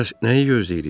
Bəs nəyi gözləyirik?